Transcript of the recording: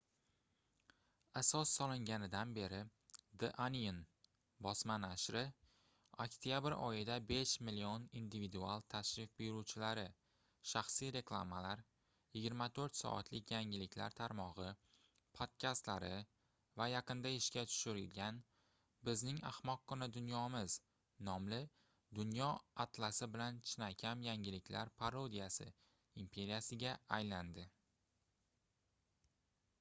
asos solinganidan beri the onion bosma nashri oktyabr oyida 5 000 000 individual tashrif buyuruvchilari shaxsiy reklamalar 24 soatlik yangiliklar tarmogʻi podkastlari va yaqinda ishga tushirilgan bizning ahmoqqina dunyomiz nomli dunyo atlasi bilan chinakam yangiliklar parodiyasi imperiyasiga aylandi